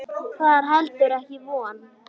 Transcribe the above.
Það er heldur ekki von.